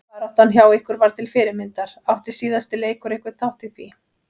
Baráttan hjá ykkur var til fyrirmyndar, átti síðasti leikur einhvern þátt í því?